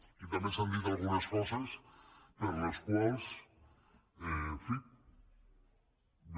aquí també s’han dit algunes coses per les quals en fi jo